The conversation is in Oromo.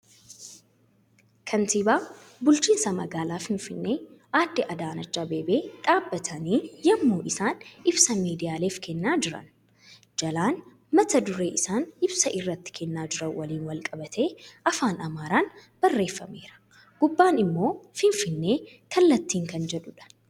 Kantiibaa bulchiinsa magaalaa Finfinnee adde Adaanach Abeebee dhaabbatanii yemmuu isaan ibsa miiidiyaaleef kennaa jira. Jalaan mata duree isaan ibsa irratti kennaa jiran waliin walqabatee afaan Amaaraan barreeffameera. Gubbaan immoo Finfinnee , kallattiin kan jedhuudha.